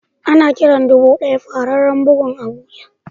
Ana Kiran dubu daya fararen bugun abuja.